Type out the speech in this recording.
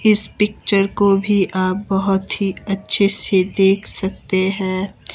इस पिक्चर को भी आप बहुत ही अच्छे से देख सकते हैं।